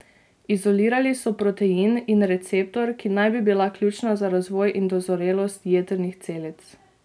Izolirali so protein in receptor, ki naj bi bila ključna za razvoj in dozorelost jetrnih celic.